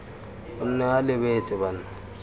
o nne o lebeletse bana